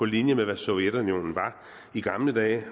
linje med hvad sovjetunionen var i gamle dage